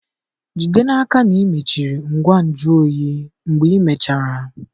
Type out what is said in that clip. Jide n'aka na ị mechiri ngwa nju oyi mgbe ịmechara